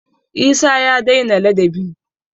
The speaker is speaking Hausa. Isah ya dai na ladabi